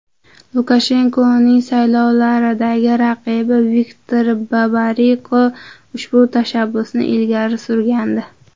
Lukashenkoning saylovlardagi raqibi Viktor Babariko ushbu tashabbusni ilgari surgandi.